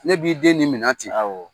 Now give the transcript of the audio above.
Ne b'i den ni minɛn ten awɔ